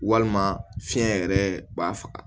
Walima fiɲɛ yɛrɛ b'a faga